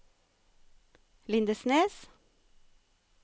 Lindesnes